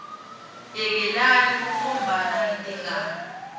yekelani kukhombana ngetingalo